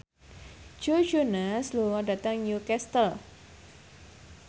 Joe Jonas lunga dhateng Newcastle